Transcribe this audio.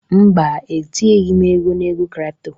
Mba, etinyeghị m ego na ego crypto